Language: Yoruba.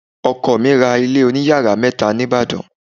Ọkọ mi ra ilé oniyàrá mẹ́ta ní Ìbàdàn.